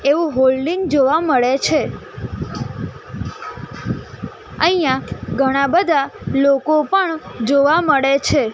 એવું હોલ્ડિંગ જોવા મળે છે અહીંયા ઘણા બધા લોકો પણ જોવા મળે છે.